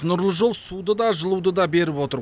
нұрлы жол суды да жылуды да беріп отыр